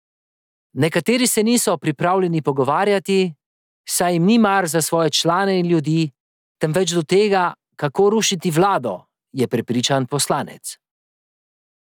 Nekateri se niso pripravljeni pogovarjati, saj jim ni mar za svoje člane in ljudi, temveč do tega, kako rušiti vlado, je prepričan poslanec.